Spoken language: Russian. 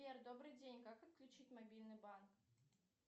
сбер добрый день как отключить мобильный банк